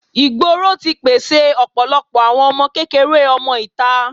ìgboro ti pèsè ọ̀pọ̀lọpọ̀ àwọn ọmọ kékeré ọmọ ìta.